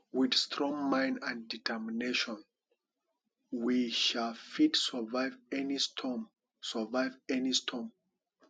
wit strong mind and determination we um fit survive any storm survive any storm